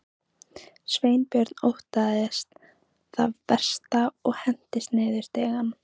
Sveinbjörn óttaðist það versta og hentist niður stigann.